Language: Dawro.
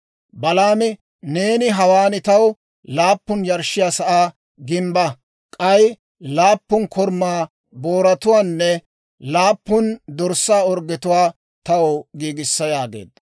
Balaami, «Neeni hawaan taw laappun yarshshiyaa sa'aa gimbba; k'ay laappun korumaa booratuwaanne laappun dorssaa orggetuwaa taw giigissa» yaageedda.